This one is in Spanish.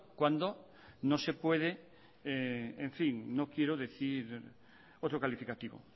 cuando no se puede en fin no quiero decir otro calificativo